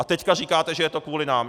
A teď říkáte, že je to kvůli nám!